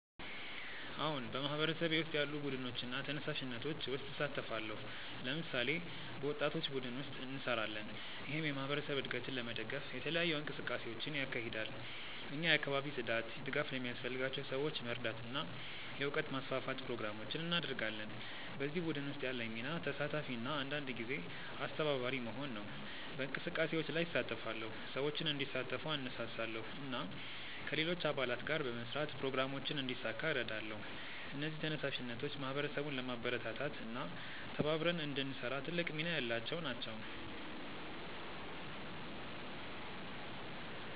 አዎን፣ በማህበረሰቤ ውስጥ ያሉ ቡድኖችና ተነሳሽነቶች ውስጥ እሳተፋለሁ። ለምሳሌ፣ በወጣቶች ቡድን ውስጥ እንሰራለን፣ ይህም የማህበረሰብ እድገትን ለመደገፍ የተለያዩ እንቅስቃሴዎችን ያካሂዳል። እኛ የአካባቢ ጽዳት፣ ድጋፍ ለሚያስፈልጋቸው ሰዎች መርዳት እና የእውቀት ማስፋፋት ፕሮግራሞችን እናደርጋለን። በዚህ ቡድን ውስጥ ያለኝ ሚና ተሳታፊ እና አንዳንድ ጊዜ አስተባባሪ መሆን ነው። በእንቅስቃሴዎች ላይ እሳተፋለሁ፣ ሰዎችን እንዲሳተፉ እነሳሳለሁ እና ከሌሎች አባላት ጋር በመስራት ፕሮግራሞችን እንዲሳካ እረዳለሁ። እነዚህ ተነሳሽነቶች ማህበረሰቡን ለማበረታታት እና ተባብረን እንድንሰራ ትልቅ ሚና ያላቸው ናቸው።